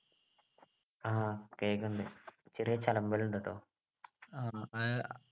കേൾക്കുന്നുണ്ട് ചെറിയ ചതുമ്പൽ ഉണ്ട് ട്ടോ